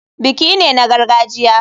Biki ne na gargajiya.